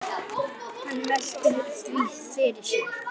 Hann veltir því fyrir sér.